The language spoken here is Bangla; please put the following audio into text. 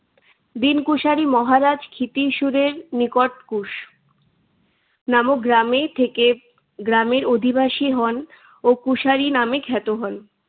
দীন কুশারি মহারাজ ক্ষীতিসুরের নিকট কুশ নামক গ্রামে থেকে গ্রামের অধিবাসী হন ও কুশারি নামে খ্যাত হন।